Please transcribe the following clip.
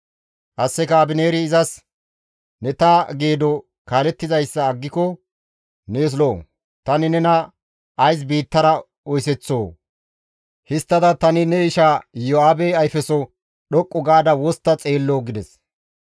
Qasseka Abineeri izas, «Ne ta geedo kaalettizayssa aggiko nees lo7o; tani nena ays biittara oyseththoo? Histtida tani ne isha Iyo7aabe ayfeso dhoqqu gaada wostta xeelloo?» gides.